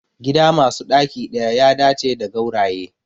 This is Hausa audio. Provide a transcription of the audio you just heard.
Gida masu ɗaki ɗaya ya dace da gauraye